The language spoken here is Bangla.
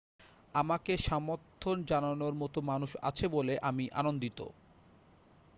আমাকে সমর্থন জানানোর মতো মানুষ আছে বলে আমি আনন্দিত